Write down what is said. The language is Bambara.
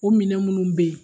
O minɛ munnu be ye